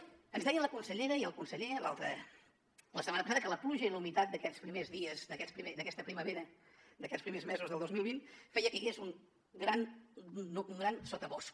ens deien la consellera i el conseller la setmana passada que la pluja i la humitat d’aquests primers dies d’aquesta primavera d’aquests primers mesos del dos mil vint feien que hi hagués un gran sotabosc